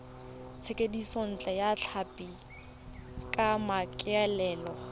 thekisontle ya tlhapi ka maikaelelo